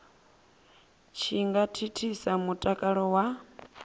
tshi nga thithisa mutakalo wa